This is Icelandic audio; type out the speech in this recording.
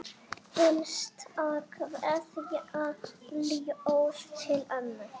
Hinsta kveðja, ljóð til ömmu.